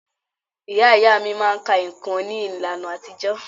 Ìyá ìyá mí máà ka nǹkan ní ìlànà àtijọ́.